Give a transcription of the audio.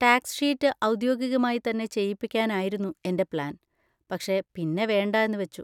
Tax sheet ഔദ്യോഗികമായി തന്നെ ചെയ്യിപ്പിക്കാനായിരുന്നു എൻ്റെ പ്ലാൻ, പക്ഷെ പിന്നെ വേണ്ടാ എന്നു വെച്ചു.